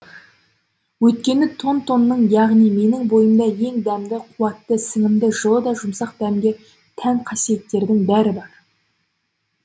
өйткені тон тонның яғни менің бойымда ең дәмді қуатты сіңімді жылы да жұмсақ дәмге тән қасиеттердің бәрі бар